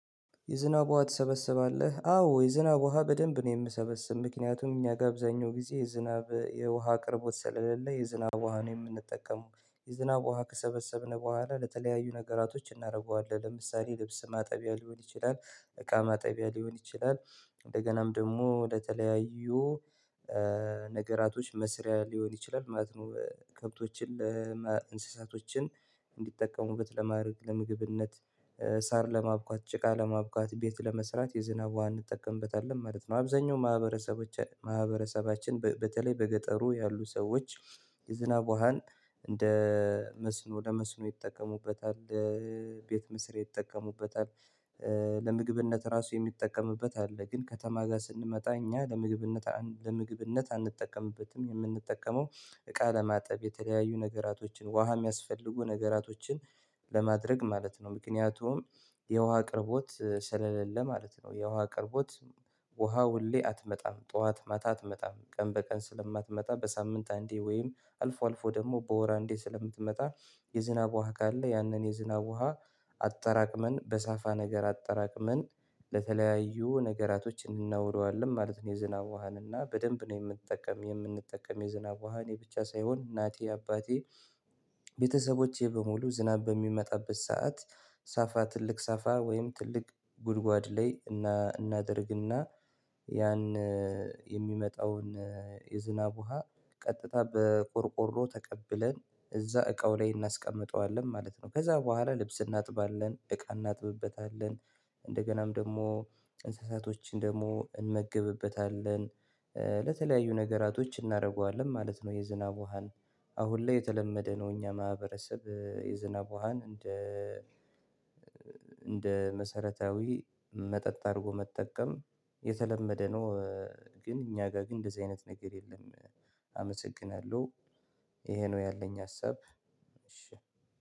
የዝናብ ውሃ ትሰበሰባለህ? አዎ የዝናብ ውሃ በደንብ ነው የምሰበሰብው። ምክንያቱም እኛ ጋብዛኛው ጊዜ የዝናብ የውሃ አቅርቦት ስለሌለ፤ የዝናብ ውሃ ነው የምንጠቀመው። የዝናብ ውሃ ከሰበሰብን በኋላ ለተለያዩ ነገራቶች እናደርገዋለን ለምሳሌ ልብስ ማጠቢያ፤ ሊሆን ይችላል እቃ ማጠቢያ፤ ሊሆን ይችላል እንደገናም ደግሞ ለተለያዩ፤ ነገራቶች መስሪያ ሊሆን ይችላል ማለት ነው። ከብቶችን እንስሳቶችን እንዲጠቀሙበት ለማድረግ ለምግብነት፤ ሳር ለማብቃት፤ ጭቃ ለማብቃት፤ ቤት ለመስራት፤ የዝናቧ እንጠቀምበታለን ማለት ነው። አብዛኛው ማህበረሰቦች ማህበረሰባችን በተለይ በገጠሩ ያሉ ሰዎች የዝናብ ውሃን እንደ መስኖ ለመስኖ ይጠቀሙበታል ቤት ምስር ይጠቀሙበታል። ለምግብነት ራሱ የሚጠቀምበት አለ ግን ከተማ ጋር ስንመጣ እኛ ለምግብነት ለምግብነት አንጠቀምበትም። የምንጠቀመው እቃ ለማጠብ፤ የተለያዩ ነገራቶችን ውሃ የሚያስፈልጉ ነገራቶችን ለማድረግ ማለት ነው። ምክንያቱም የውሃ አቅርቦት ስለሌለ ማለት ነው። የውሃ አቅርቦት ውሃ ሁሌ አትመጣም፤ ጠዋት ማታ አትመጣም፤ ቀን በቀን ስለማትመጣ፤ በሳምንት አንዴ ወይም አልፎ አልፎ ደግሞ በወር አንዴ ስለምትመጣ፤ የዝናብ ውሃ ካለ ያንን የዝናብ ውሃ አጠራቅመን፤ በሳፋ ነገር አጠራቅመን ለተለያዩ ነገራቶች እንናውሏለን ማለት ነው። የዝናብ ውሃን እና በደንብ ነው የምንጠቀመው የምንጠቀመው የዝናብ ውሃን የብቻ ሳይሆን እናቴ አባቴ ቤተሰቦቼ በሙሉ ዝናብ በሚመጣበት ሰዓት ሳፋ ትልቅ ሳፋ ወይም ትልቅ ጉድጓድ ላይ እና እናደርግና ያን የሚመጣውን የዝናብ ውሃ ቀጥታ በቆርቆሮ ተቀብለን እዛ እቃው ላይ እናስቀምጠዋለን ማለት ነው። ከዛ በኋላ ልብስ እናጥባለን፤ እቃ እናጥብበታለን፤ እንደገናም ደግሞ እንስሳቶችን ደግሞ እንመግብበታለን ለተለያዩ ነገራቶች እናደርገዋለን ማለት ነው የዝናብ ውሃን። አሁን ላይ የተለመደ ነው የኛ ማህበረሰብ የዝናብ ውሃን እንደ እንደ መሰረታዊ መጠጥ አድርጎ መጠቀም የተለመደ ነው። ግን እኛ ጋር ግን እንደዚህ አይነት ነገር የለም አመሰግናለሁ። ይሄ ነው ያለኝ ሀሳብ።